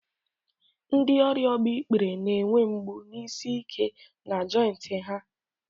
Ndị ọrịa agbaikpere na-enwe mgbu na isi ike na jointị ha.